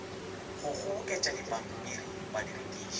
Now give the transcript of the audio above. go kgoboketšadipampiri ba di rekiše